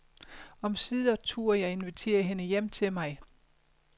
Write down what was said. Omsider turde jeg invitere hende hjem til mig.